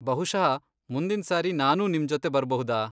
ಬಹುಶಃ ಮುಂದಿನ್ ಸಾರಿ ನಾನೂ ನಿಮ್ಜೊತೆ ಬರ್ಬಹುದಾ?